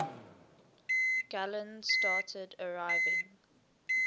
galleons started arriving